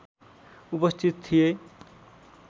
उपस्थित थिए